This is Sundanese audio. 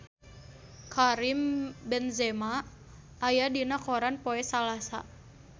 Karim Benzema aya dina koran poe Salasa